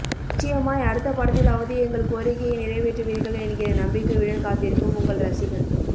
நிச்சயமாய் அடுத்த படத்திலாவது எங்கள் கோரிக்கையை நிறைவேற்றுவீர்கள் என்கிற நம்பிக்கையுடன் காத்திருக்கும் உங்கள் ரசிகன்